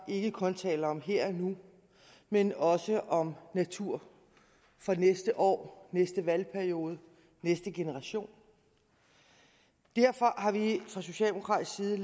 ikke kun taler om her og nu men også om natur for næste år næste valgperiode næste generation derfor har vi fra socialdemokratisk side